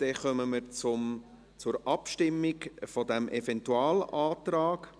Dann kommen wir zur Abstimmung über diesen Eventualantrag.